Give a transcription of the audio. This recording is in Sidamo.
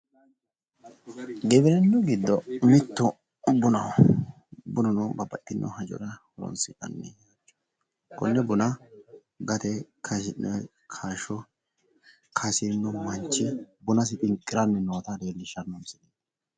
Giwirinnu giddo mitu buna, xa leelittanni noonketi gate kaashu giddo uure manchu buna xinqiranni( gamba ) assiranni nootta leellishanno